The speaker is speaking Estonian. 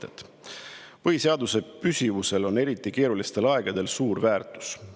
Esiteks: "Põhiseaduse püsivusel on eriti keerulistel aegadel suur väärtus.